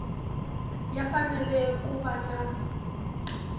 ya fanele ku va na